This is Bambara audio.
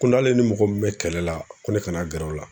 Ko n'ale ni mɔgɔ min bɛ kɛlɛ la ko ne kana gɛrɛ o la.